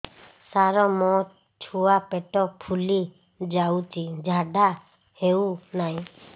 ସାର ମୋ ଛୁଆ ପେଟ ଫୁଲି ଯାଉଛି ଝାଡ଼ା ହେଉନାହିଁ